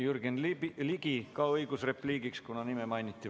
Jürgen Ligil on samuti õigus repliigiks, kuna tema nime mainiti.